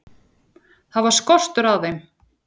Það var skortur á þeim.